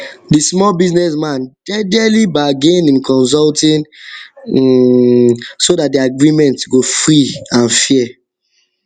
the small business man jejely bargain him consulting um so that the agreement go free and fair